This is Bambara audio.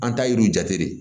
An ta yir'u jate de